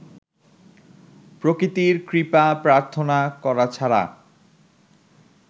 প্রকৃতির কৃপা প্রার্থনা করা ছাড়া